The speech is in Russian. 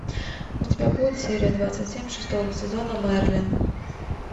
у тебя будет серия двадцать семь шестого сезона мерлин